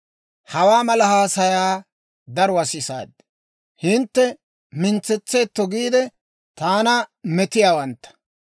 «Hawaa mala haasayaa daruwaa sisaad; hintte mintsetseetto giidde, taana metiyaawantta.